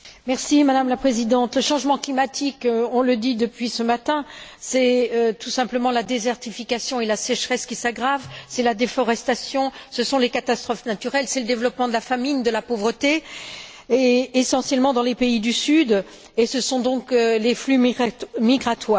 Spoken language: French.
Madame la Présidente, le changement climatique, on le dit depuis ce matin, c'est tout simplement la désertification et la sécheresse qui s'aggravent, c'est la déforestation, ce sont les catastrophes naturelles, c'est le développement de la famine, de la pauvreté, essentiellement dans les pays du Sud, et ce sont les flux migratoires.